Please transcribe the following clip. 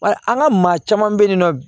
Wa an ka maa caman bɛ yen nɔ